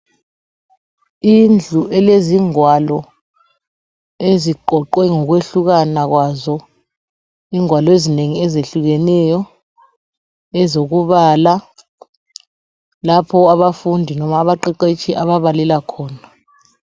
Indlu elezingwalo eziqhoqwe ngokuyehlukana kwazo ingwalo ezineni eziyehlukeneyo ezokubala lapho abafundi loba abaqheqhetshi ababalela khona.